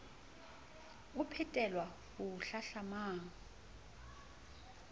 o phethelwa ho o hlahlamang